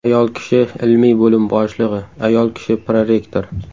Ayol kishi ilmiy bo‘lim boshlig‘i, ayol kishi prorektor.